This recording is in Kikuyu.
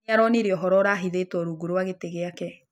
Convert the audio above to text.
Nĩaronĩre ũhoro ũrahĩthĩtwo rũngũ rwa gĩtĩ gĩake